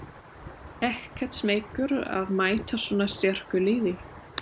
Ekkert smeykur að mæta svona sterku liði?